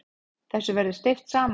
Þessu verði steypt saman.